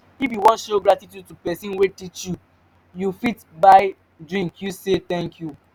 if you won show gratitude to persin wey teach you you fit buy drink use say thank you